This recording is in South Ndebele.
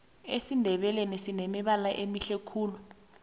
esindebeleni sinemibala emihle khulu